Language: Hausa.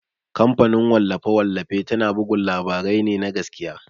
Kamfanin wallafe-wallafe tana bugun labarai ne na gaskiya.